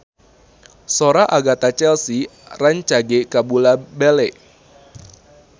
Sora Agatha Chelsea rancage kabula-bale